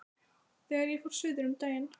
Þegar ég fór suður um daginn.